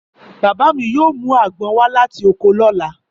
Bàbá mi yóò mú àgbọn wá láti oko lọ́la.